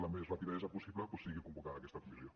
amb la major rapidesa possible sigui convocada aquesta comissió